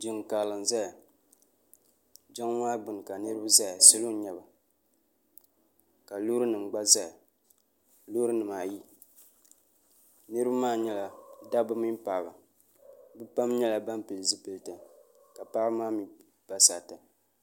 jin karili n zaya jinli maa gbani ka niriba zaya salo n nyɛba ka lori nim gba zaya lorinim maa ayi niriba maa nyɛla da ba mini paɣ' ba be pam nyɛla ban pɛli zipɛlitɛ ka paɣ ba maa mi pa saritɛ